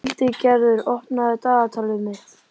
Hildigerður, opnaðu dagatalið mitt.